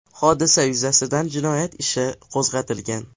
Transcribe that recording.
Hodisa yuzasidan jinoyat ishi qo‘zg‘atilgan .